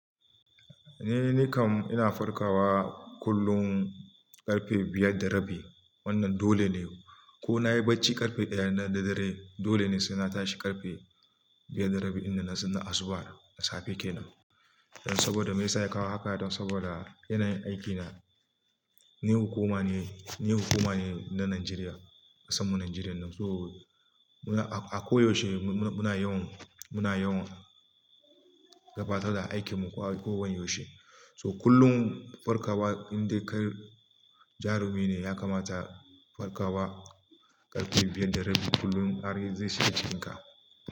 Ni nikam ina farkawa kullum ƙarfe biyar da rabi. Wannan dole ne. Ko nayi bacci ƙarfe ɗaya na dare, dole ne saina tashi ƙarfe biyar da rabi ina sallar asuba da safe kenan. Don saboda me yasa ya kawo haka? Don saboda ina yin aikina. Ni hukuma ne, ni hukuma ne na Najeriya, ƙasanmu Najeriya kenan. So a koyaushe muna yawan, muna yawan gabatar da aikinmu ko yaushe. So kullum farkawa inda kai jarumi ne ya kamata farkawa ƙarfe biyar da rabi kullum. I mean zai shirya jikin ka.